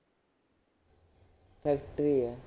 Factory ਹੈ